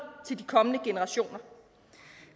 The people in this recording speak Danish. til de kommende generationer